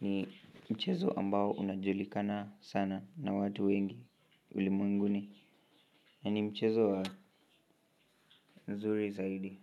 ni mchezo ambao unajulikana sana na watu wengi ulimwenguni na ni mchezo wa nzuri zaidi.